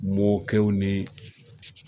Mɔkɛw ni